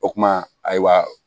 O kuma ayiwa